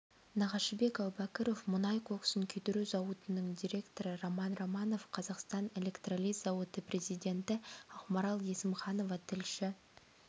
нағашыбек әубәкіров мұнай коксын күйдіру зауытының директоры роман романов қазақстан электролиз зауыты президенті ақмарал есімханова тілші